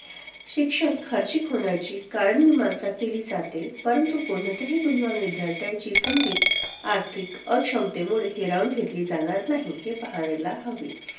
शिक्षण खर्चिक होण्याची कारणमीमांसा केली जाते परंतु कोणत्याही गुणवान विद्यार्थ्यांची संधी आर्थिक अक्षमतेमुळे हिरावून घेतली जाणार नाही हे पहायला हवे.